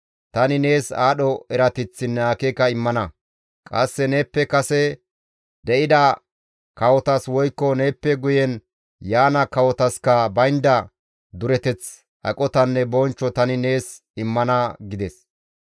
tani nees aadho erateththinne akeeka immana; qasse neeppe kase de7ida kawotas woykko neeppe guyen yaana kawotaskka baynda dureteth, aqotanne bonchcho tani nees immana» gides.